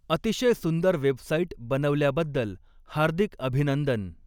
अतिशय सुन्दर वेबसाईट बनवल्या बद्दल हार्दिक अभिनंदन.